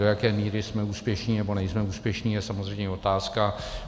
Do jaké míry jsme úspěšní nebo nejsme úspěšní, je samozřejmě otázka.